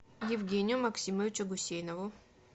евгению максимовичу гусейнову